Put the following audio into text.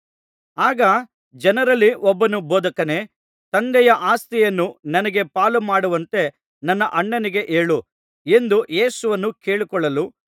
ಆಗ ಜನರಲ್ಲಿ ಒಬ್ಬನು ಬೋಧಕನೇ ತಂದೆಯ ಆಸ್ತಿಯನ್ನು ನನಗೆ ಪಾಲುಮಾಡುವಂತೆ ನನ್ನ ಅಣ್ಣನಿಗೆ ಹೇಳು ಎಂದು ಯೇಸುವನ್ನು ಕೇಳಿಕೊಳ್ಳಲು